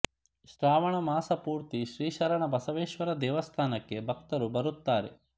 ಶ್ರಾವಣ ಮಾಸ ಪೂರ್ತಿ ಶ್ರೀ ಶರಣ ಬಸವೇಶ್ವರ ದೇವಸ್ಥಾನಕ್ಕೆ ಭಕ್ತರು ಬರುತ್ತಾರೆ